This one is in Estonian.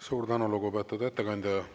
Suur tänu, lugupeetud ettekandja!